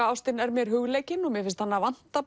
ástin er mér hugleikin og mér finnst hana vanta